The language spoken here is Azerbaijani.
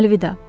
Əlvida!